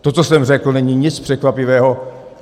To, co jsem řekl, není nic překvapivého.